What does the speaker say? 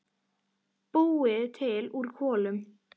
Búið til úr kolum!